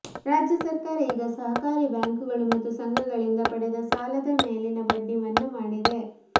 ರಾಜ್ಯ ಸರ್ಕಾರ ಈಗ ಸಹಕಾರಿ ಬ್ಯಾಂಕುಗಳು ಮತ್ತು ಸಂಘಗಳಿಂದ ಪಡೆದ ಸಾಲದ ಮೇಲಿನ ಬಡ್ಡಿ ಮನ್ನಾ ಮಾಡಿದೆ